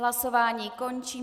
Hlasování končím.